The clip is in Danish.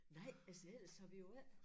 Nej altså ellers så vi jo ikke